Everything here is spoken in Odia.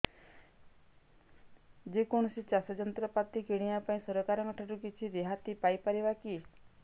ଯେ କୌଣସି ଚାଷ ଯନ୍ତ୍ରପାତି କିଣିବା ପାଇଁ ସରକାରଙ୍କ ଠାରୁ କିଛି ରିହାତି ପାଇ ପାରିବା କି